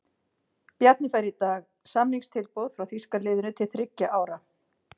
Bjarni fær í dag samningstilboð frá þýska liðinu til þriggja ára.